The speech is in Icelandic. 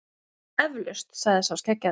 Eflaust, sagði sá skeggjaði.